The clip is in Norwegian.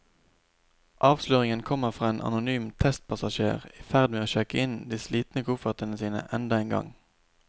Avsløringen kommer fra en anonym testpassasjer i ferd med å sjekke inn de slitne koffertene sine enda en gang.